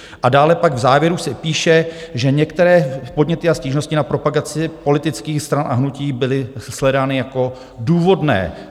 A dále pak v závěru se píše, že některé podněty a stížnosti na propagaci politických stran a hnutí byly shledány jako důvodné.